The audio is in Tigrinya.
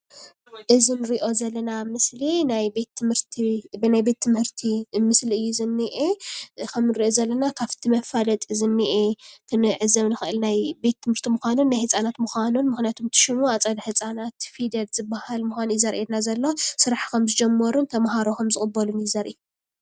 እዚ እንርእዮ ዘለና ምስሊ ናይ ቤትምህርቲ ምስሊ እዩ ዝኒአ። ከምንርእዮ ዘለና ካብቲ መፋለጢ ዝኒአ ክንዕዘቦ ንክእል። ቤትምህርቲ ምኳኑ ናይ ህፃዉንቲ ምኳኑ ምክንያቱ ኣፀደ ህፃናት ፊደል ዝበሃል ምኳኑ ዘርእየና ።ስራሕ ከምዝጀመሩን ተምሃሮ ከምዝቅበሉን እዩ ዘርኢ፡፡